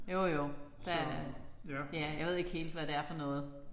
Jo jo der er det er. Jeg ved ikke helt hvad det er for noget